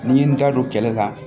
N'i ye n da don kɛlɛ la